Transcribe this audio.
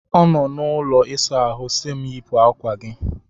Ọ nọ n'ụlọ ịsa ahụ si m yipụ akwa gị!